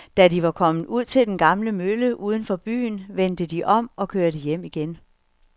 Da de var kommet ud til den gamle mølle uden for byen, vendte de om og kørte hjem igen.